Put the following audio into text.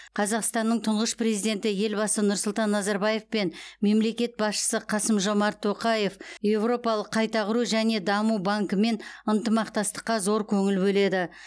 қазақстаннның тұңғыш президенті елбасы нұрсұлтан назарбаев пен мемлекет басшысы қасым жомарт тоқаев еуропалық қайта құру және даму банкімен ынтымақтастыққа зор көңіл бөледі